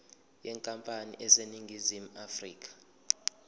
yenkampani eseningizimu afrika